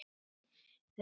Án efa, hvers vegna ekki?